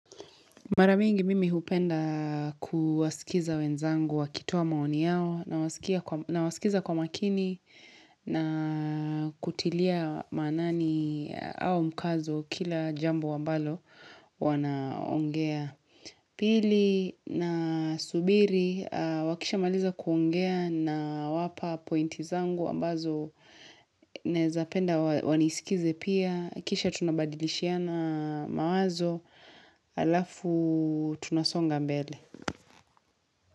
Mara mingi mimi hupenda kuwaskiza wenzangu wakitoa maoni yao nawaskiza kwa makini na kutilia maanani au mkazo kila jambo ambalo wanaongea. Pili nasubiri wakisha maliza kuongea nawapa pointi zangu ambazo naezapenda waniskize pia, kisha tunabadilishiana mawazo alafu tunasonga mbele.